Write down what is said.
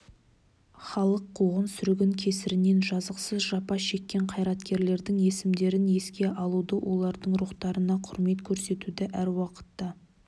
халық қуғын-сүргін кесірінен жазықсыз жапа шеккен қайраткерлердің есімдерін еске алуды олардың рухтарына құрмет көрсетуді әр уақытта